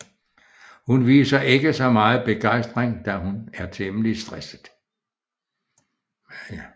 Hun viser ikke så meget begejstring da hun er temmelig stresset